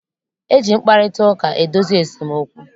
E ji mkparịtaụka edozi esemokwu.